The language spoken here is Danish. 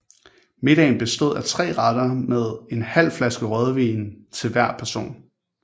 Middagen bestod af tre retter med med en halv flaske rødvin til hver person